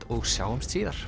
og sjáumst síðar